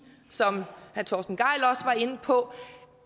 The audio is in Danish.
som herre torsten gejl inde på